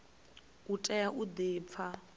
u tea u di pfa